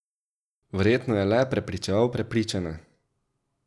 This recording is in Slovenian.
Verjetno je le prepričeval prepričane.